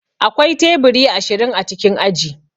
Akwai teburi ashirin a cikin aji.